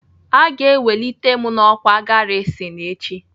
Aga ewelite m n'ọkwá garisin echi.